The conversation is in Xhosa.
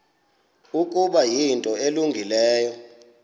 ukuba yinto elungileyo